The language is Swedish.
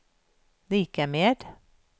lika med